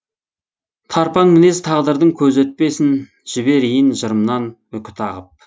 тарпаң мінез тағдырдың көзі өтпесін жіберейін жырымнан үкі тағып